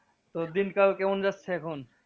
তোর দিনকাল কেমন যাচ্ছে এখন?